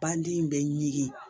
Banden bɛ ɲigin